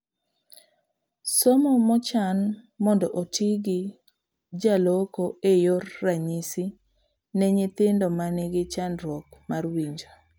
Somo manochan mondo otii gi jaloko e yor ranyisi ne nyithindo manigi chandruok mar winjo